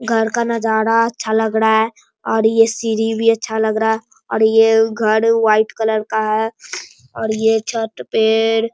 घर का नजाड़ा अच्छा लग ड़ा है और ये सीढ़ी भी अच्छा लग रहा और ये घर वाइट कलर का है और ये छत पे --